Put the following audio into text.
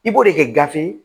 I b'o de kɛ gafe ye